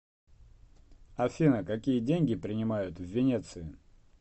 афина какие деньги принимают в венеции